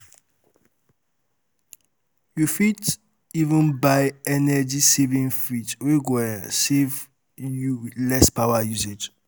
yu fit um even buy energy um saving fridge wey go um serve you with less power usage